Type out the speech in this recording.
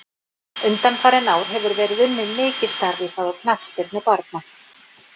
Undanfarin ár hefur verið unnið mikið starf í þágu knattspyrnu barna.